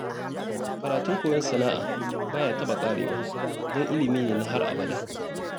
Karatun koyon sana'a ba ya taɓa ƙarewa, don ilimi ne na har abada